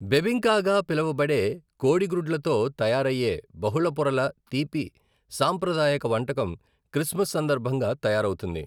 బెబింకాగా పిలవబడే కోడిగ్రుడ్లతో తయారయ్యే బహుళ పొరల తీపి సాంప్రదాయక వంటకం క్రిస్మస్ సందర్భంగా తయారవుతుంది.